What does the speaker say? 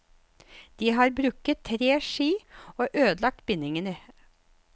De har brukket tre ski og ødelagt bindinger.